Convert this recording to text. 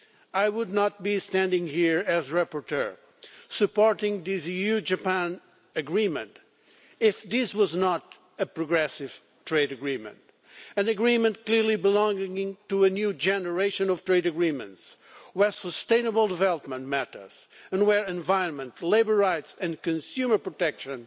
I would not be standing here as rapporteur supporting this EU-Japan Agreement if it were not a progressive trade agreement an agreement clearly belonging to a new generation of trade agreements, in which sustainable development matters and environment, labour rights and consumer protection